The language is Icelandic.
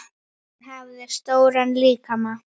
Hún hafði stóran líkama.